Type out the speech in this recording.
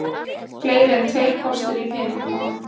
Fleiri en tveir kostir í peningamálum